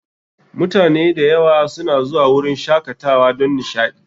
Mutane da yawa suna zuwa wurin shakatawa don nishaɗi